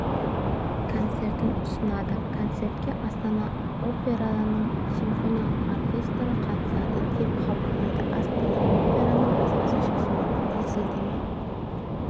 концертін ұсынады концертке астана операның симфониялық оркестрі қатысады деп хабарлайды астана операның баспасөз қызметіне сілтеме